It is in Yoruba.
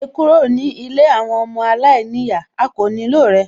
Jáde kúrò ní ilé àwọn ọmọ aláìníyàá, a kò nílò rẹ